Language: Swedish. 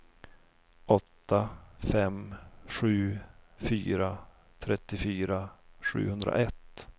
åtta fem sju fyra trettiofyra sjuhundraett